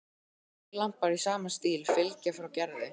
Þrír lampar í sama stíl fylgja frá Gerði.